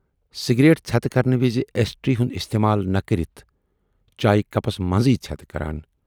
Cigarette ژھتہٕ کرنہٕ وِزِ ا یشٹری ہُند اِستعمال نہٕ کٔرِتھ چایہِ کپس منزٕے ژھٮ۪تہٕ کران۔